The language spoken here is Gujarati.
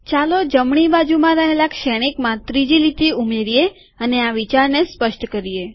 ચાલો જમણી બાજુમાં રહેલા શ્રેણિકમાં ત્રીજી લીટી ઉમેરીએ અને આ વિચારને સ્પષ્ટ કરીએ